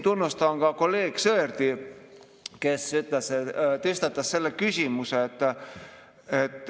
Tunnustan kolleeg Sõerdi, kes tõstatas selle küsimuse.